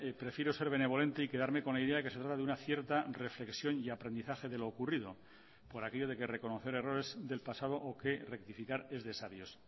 prefiero ser benevolente y quedarme con la idea que se trata de una cierta reflexión y aprendizaje de lo ocurrido por aquello de que reconocer errores del pasado o que rectificar es de sabios